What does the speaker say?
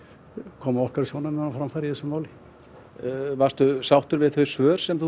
koma okkar sjónarmiðum á framfæri í þessu máli varstu sáttur við þau svör sem þú